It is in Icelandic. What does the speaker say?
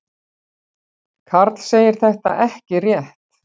Karl segir þetta ekki rétt.